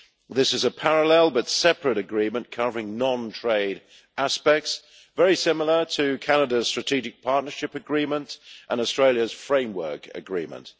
This is a parallel, but separate, agreement covering non trade aspects, very similar to Canada's Strategic Partnership Agreement and Australia's Framework Agreement.